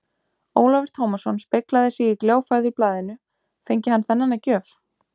Ólafur Tómasson speglaði sig í gljáfægðu blaðinu, fengi hann þennan að gjöf?